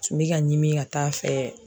Tun bɛ ka ɲimini ka t'a fɛ.